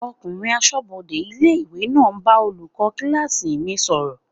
Ọkùnrin asọ́bodè ilé-ìwé náà ń bá olùkọ́ kílásì mi sọ̀rọ̀